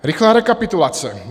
Rychlá rekapitulace.